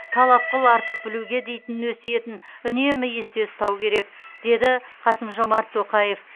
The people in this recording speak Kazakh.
талап қыл артық білуге дейтін өсиетін үнемі есте ұстау керек деді қасым жомарт тоқаев